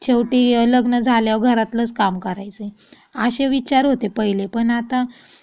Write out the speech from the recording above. शेवटी लग्न झाल्यावर घरातलंच काम करायचे. असे विचार होते पहिले पण आता